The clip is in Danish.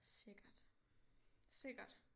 Sikkert sikkert